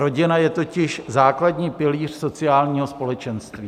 Rodina je totiž základní pilíř sociálního společenství."